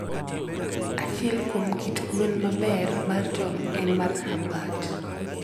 Achiel kuom kit gweno maber mar tong' en mar Hubbard .